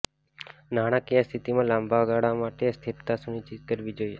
નાણાકીય સ્થિતિમાં લાંબા ગાળા માટે સ્થિરતા સુનિશ્ચિત કરવી જોઈએ